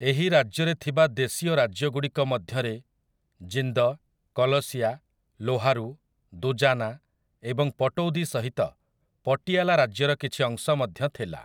ଏହି ରାଜ୍ୟରେ ଥିବା ଦେଶୀୟ ରାଜ୍ୟଗୁଡ଼ିକ ମଧ୍ୟରେ ଜିନ୍ଦ, କଲସିଆ, ଲୋହାରୁ, ଦୁଜାନା ଏବଂ ପଟୌଦି ସହିତ ପଟିଆଲା ରାଜ୍ୟର କିଛି ଅଂଶ ମଧ୍ୟ ଥିଲା ।